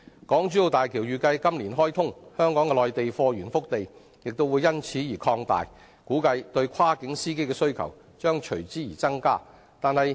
港珠澳大橋預計在今年開通，香港的內地貨源腹地亦會因而擴大，估計對跨境司機的需求將會增加。